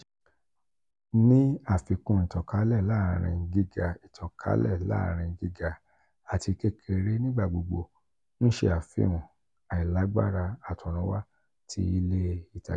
ni afikun itankale laarin giga itankale laarin giga ati kekere nigbagbogbo n ṣe afihan ailagbara atorunwa ti ile itaja.